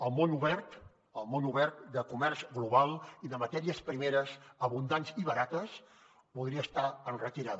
el món obert el món obert de comerç global i de matèries primeres abundants i barates podria estar en retirada